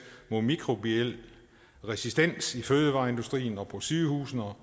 mod mikrobiel resistens i fødevareindustrien og på sygehusene og